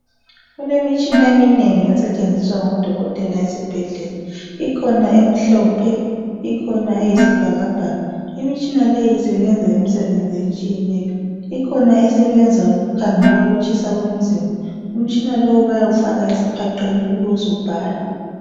Kulemitshina eminengi esetshenziswa ngodokotela ezibhedlela ikhona emhlophe ikhona eyisibhakabhaka. Imtshina leyi isebenza imsebenzi etshiyeneyo ikhona esebenza ukukhangela ukutshisa komzimba umtshina lowu bayawufaka esiphaqeni ube subhala.